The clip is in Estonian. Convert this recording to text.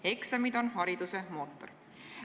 Eksamid on hariduse mootor.